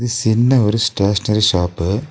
சின்ன ஒரு stationery shop .